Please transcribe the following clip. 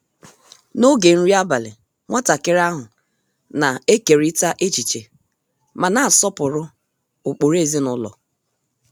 N’oge nri abalị, nwatakịrị ahụ na-ekeriita echiche ma na-asọpụrụ ụkpụrụ ezinụlọ.